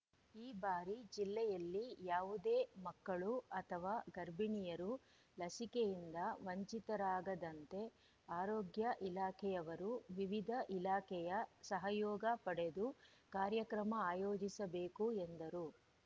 ಈ ಬಾರಿ ಜಿಲ್ಲೆಯಲ್ಲಿ ಯಾವುದೇ ಮಕ್ಕಳು ಅಥವಾ ಗರ್ಭಿಣಿಯರು ಲಸಿಕೆಯಿಂದ ವಂಚಿತರಾಗದಂತೆ ಆರೋಗ್ಯ ಇಲಾಖೆಯವರು ವಿವಿಧ ಇಲಾಖೆಯ ಸಹಯೋಗ ಪಡೆದು ಕಾರ್ಯಕ್ರಮ ಆಯೋಜಿಸಬೇಕು ಎಂದರು